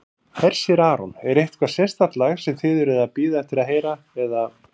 Hersir Aron: Er eitthvað sérstakt lag sem þið eruð að bíða eftir að heyra eða?